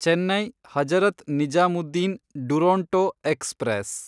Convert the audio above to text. Chennai Hazrat Nizamuddin Duronto express